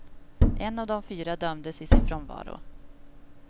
En av de fyra dömdes i sin frånvaro.